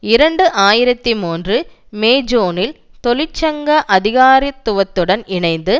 இரண்டு ஆயிரத்தி மூன்று மே ஜூனில் தொழிற்சங்க அதிகாரத்துவத்துடன் இணைந்து